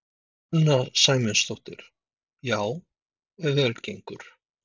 Sunna Sæmundsdóttir: Já ef vel gengur?